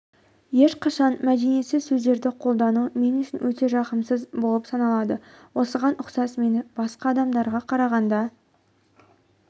ешқашан мәдениетсіз сөздерді қолдану мен үшін өте жағымсыз болып саналады осыған ұқсас менің басқа адамдарға қарағанда